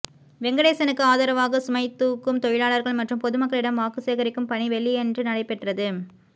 வெங்கடேசனுக்கு ஆதரவாக சுமைதூக்கும் தொழிலாளர்கள் மற்றும் பொதுமக்களிடம் வாக்கு சேகரிக்கும் பணி வெள்ளியன்று நடைபெற்றது